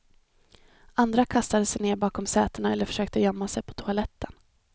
Andra kastade sig ned bakom sätena eller försökte gömma sig på toaletten.